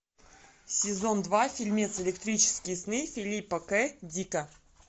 сезон два фильмец электрические сны филипа к дика